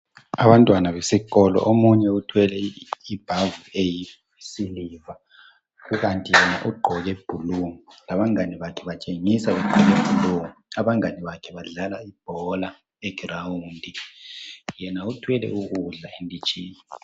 Abantwana besikolo omunye uthwele ibhavu eyisiliva, kukanti yena ugqoke bhlu, labangane bakhe batshengiswa begqoke bhlu, abangane bakhe badlala ibhola egrawundi, yena uthwele ukudla enditshini.